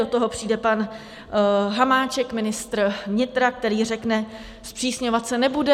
Do toho přijde pan Hamáček, ministr vnitra, který řekne, zpřísňovat se nebude.